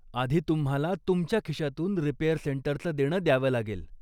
आधी तुम्हाला तुमच्या खिशातून रिपेअर सेंटरचं देणं द्यावं लागेल.